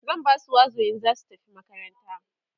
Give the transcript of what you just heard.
zan Basu wazo in zasu tafi makaranta